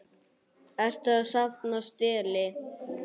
Ertu að safna stelli?